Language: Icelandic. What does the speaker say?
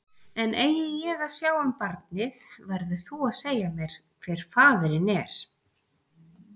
En eigi ég að sjá um barnið, verður þú að segja mér hver faðirinn er.